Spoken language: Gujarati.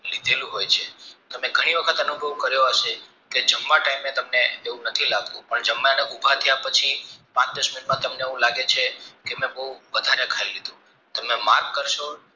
કીધેલું હોય છે તમે ઘણી વખત અનુભવ કર્યો હશે કે જમવા તાયમેં તમને ધૂપ નથી લાગતું પણ જમ્યા ભૂખ્યા થયા પછી પાંચ દસ મિનિટમાં તમને એવું લાગે છે કે મેં બવ વાદ્ગારે ખાય લીધું તમે mark કારસો